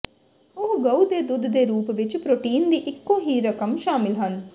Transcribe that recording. ਉਹ ਗਊ ਦੇ ਦੁੱਧ ਦੇ ਰੂਪ ਵਿੱਚ ਪ੍ਰੋਟੀਨ ਦੀ ਇੱਕੋ ਹੀ ਰਕਮ ਸ਼ਾਮਿਲ ਹਨ